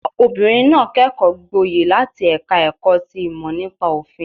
Obìnrin náà kẹ́kọ̀ọ́ gboyè láti ẹ̀ka ẹ̀kọ́ ti ìmọ̀ nípa òfin